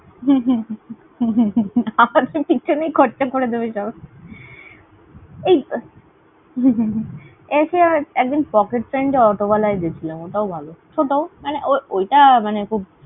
আমাদের পিছনেই খরচা করে দেবে সব। এই এসে একজন pocket এ অটোওয়ালায় গেছিলাম। ওটাও ভালো ছোট। মানে ওইটা মানে খুব।